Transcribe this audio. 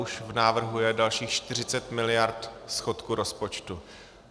Už v návrhu je dalších 40 miliard schodku rozpočtu.